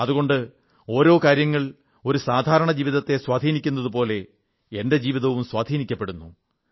അതുകൊണ്ട് ഓരോ കാര്യങ്ങൾ ഒരു സാധാരണ ജീവിതത്തെ സ്വാധീനിക്കുന്നതുപോലെ എന്റെ ജീവിതവും സ്വാധീനിക്കപ്പെടുന്നു